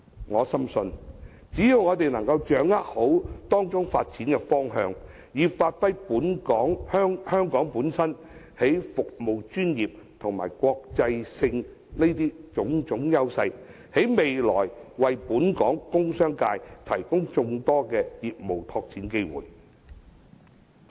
我深信，只要我們掌握好發展方向，以發揮香港本身在服務專業等優勢，充分利用其國際地位，在未來當為本港工業界提供眾多業務拓展機會。